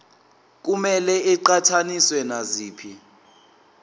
kumele iqhathaniswe naziphi